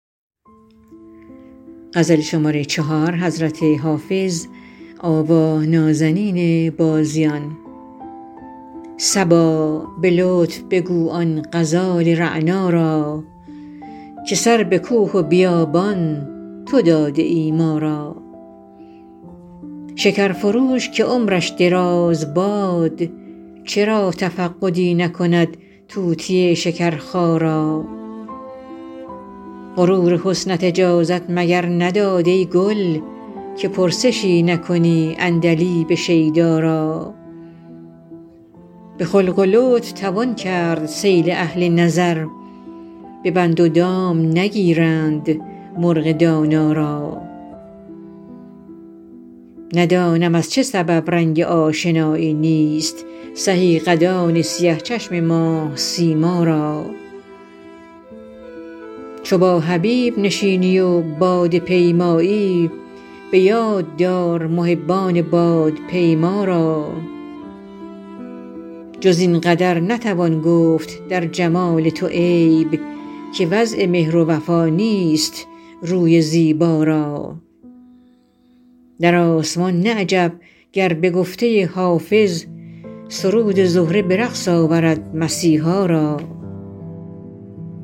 صبا به لطف بگو آن غزال رعنا را که سر به کوه و بیابان تو داده ای ما را شکر فروش که عمرش دراز باد چرا تفقدی نکند طوطی شکرخا را غرور حسنت اجازت مگر نداد ای گل که پرسشی نکنی عندلیب شیدا را به خلق و لطف توان کرد صید اهل نظر به بند و دام نگیرند مرغ دانا را ندانم از چه سبب رنگ آشنایی نیست سهی قدان سیه چشم ماه سیما را چو با حبیب نشینی و باده پیمایی به یاد دار محبان بادپیما را جز این قدر نتوان گفت در جمال تو عیب که وضع مهر و وفا نیست روی زیبا را در آسمان نه عجب گر به گفته حافظ سرود زهره به رقص آورد مسیحا را